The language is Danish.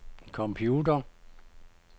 computeren